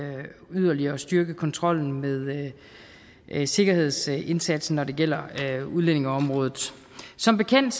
yderligere at styrke kontrollen med med sikkerhedsindsatsen når det gælder udlændingeområdet som bekendt